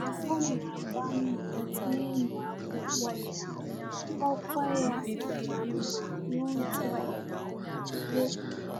Ọ na-agba mbọ n’ịmụ akwụkwọ ya, ọkwa ya dịkwa mma n’ụzọ omume.